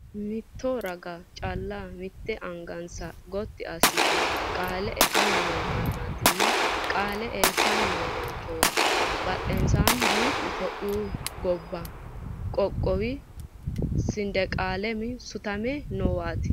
Mitto raga calla la'anni mitte angansa gotti asse qaale eanni noo mannaatinna qaale eessanni noo machooti. Badheenni duuchu itiyophiyu gobbuwa qoqqowi sindeqalamma sutante noowaati.